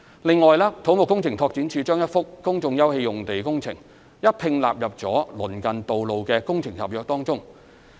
此外，土木工程拓展署把一幅公眾休憩用地工程一併納入了鄰近道路的工程合約中。